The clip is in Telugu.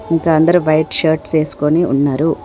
ఇంకా అందరూ వైట్ షర్ట్స్ ఎస్కొని ఉన్నరు.